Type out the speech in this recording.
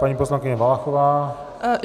Paní poslankyně Valachová.